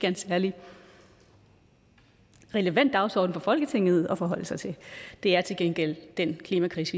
en særlig relevant dagsorden for folketinget at forholde sig til det er til gengæld den klimakrise